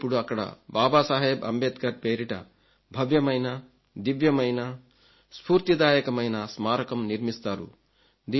మరిప్పుడు అక్కడ బాబాసాహెబ్ అంబేద్కర్ పేరిట భవ్యమైన దివ్యమైన స్ఫూర్తిదాయకమైన స్మారకం నిర్మిస్తారు